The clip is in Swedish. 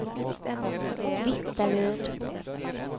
Vittaryd